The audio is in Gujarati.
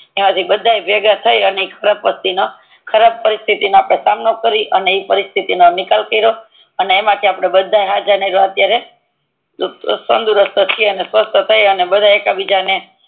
ઈ આજે બધા ભેગા થઈને ખરાબ પરિસ્થિતિ નો સામનો કરીને ઈ શથી તી નો નિકાલ કીરો અને એમ થી આપડે બધા હજ નિકડ્યાં અત્યારે તંદુરસ્ત છીએ ને સ્વસ્થ થઈને બધા એક બીજા ને